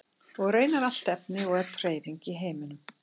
Og raunar allt efni og öll hreyfing í heiminum.